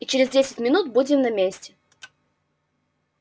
и через десять минут будем на месте